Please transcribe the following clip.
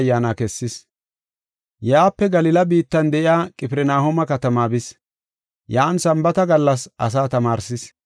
Yaape Galila biittan de7iya Qifirnahooma katamaa bis. Yan Sambaata gallas asaa tamaarsis.